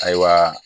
Ayiwa